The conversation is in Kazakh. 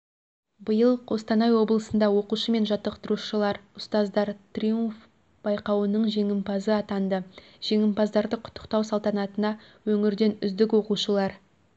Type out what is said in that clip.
биыл қостанай облысында оқушы мен жаттықтырушылар ұстаздар триумф байқауының жеңімпазы атанды жеңімпаздарды құттықтау салтанатына өңірден үздік оқушылар